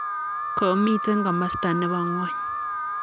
komitei komosta ne bo ng'ony.